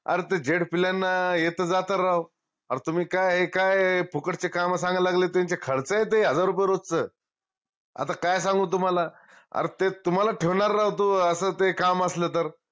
अर ते हे त जात राव ओ तुम्ही काय हे काय फुकटचे काम सांगा लागले त्यांचे खरच आहे ते हजार रुपये रोजच आता काय सांगू तुम्हाला अर ते तुम्हाला ठेवनार राव तो अस ते काम असलं तर